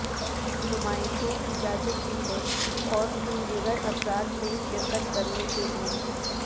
نمائشوں اجازت دی ہیں اور ان دیگر افراد میں شرکت کرنے کے لئے